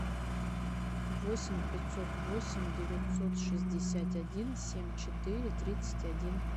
восемь пятьсот восемь девятьсот шестьдесят один семь четыре тридцать один